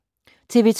TV 2